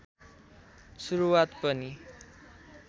सुरुवात पनि